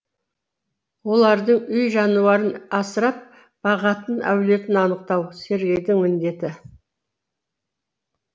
олардың үй жануарын асырап бағатын әлеуетін анықтау сергейдің міндеті